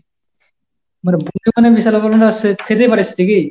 খেতে পারিস নাকি?